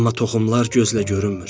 Amma toxumlar gözlə görünmür.